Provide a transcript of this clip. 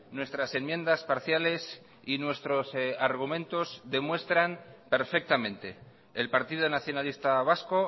nuestras enmiendas parciales y nuestros argumentos demuestran perfectamente el partido nacionalista vasco